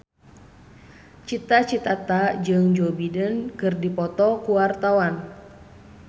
Cita Citata jeung Joe Biden keur dipoto ku wartawan